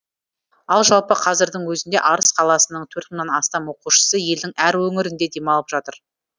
ал жалпы қазірдің өзінде арыс қаласының төрт мыңнан астам оқушысы елдің әр өңірінде демалып жатыр